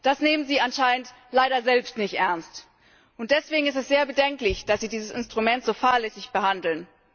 Das nehmen Sie anscheinend leider selbst nicht ernst. Deswegen ist es sehr bedenklich, dass Sie dieses Instrument so fahrlässig behandeln.